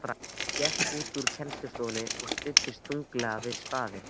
Hún gekk út úr kennslustofunni og studdist þunglega við stafinn.